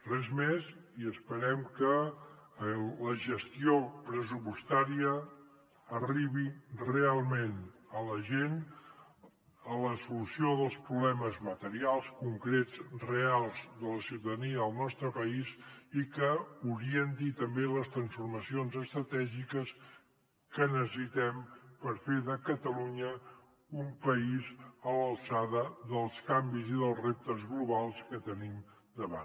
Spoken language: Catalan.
res més i esperem que la gestió pressupostària arribi realment a la gent a la solució dels problemes materials concrets reals de la ciutadania del nostre país i que orienti també les transformacions estratègiques que necessitem per fer de catalunya un país a l’alçada dels canvis i dels reptes globals que tenim davant